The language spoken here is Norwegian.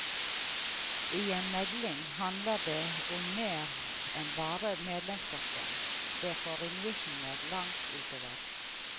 I en megling handler det om mer enn bare medlemsstokken, det får ringvirkninger langt utover.